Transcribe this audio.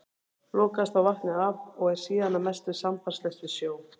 Lokaðist þá vatnið af og er síðan að mestu sambandslaust við sjó.